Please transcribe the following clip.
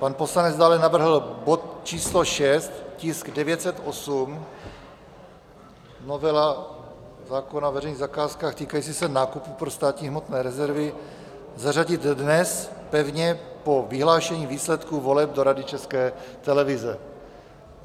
Pan poslanec dále navrhl bod číslo 6, tisk 908, novela zákona o veřejných zakázkách, týkající se nákupu pro státní hmotné rezervy, zařadit dnes pevně po vyhlášení výsledků voleb do Rady České televize.